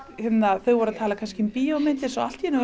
þau voru að tala um bíómyndir en allt í einu voru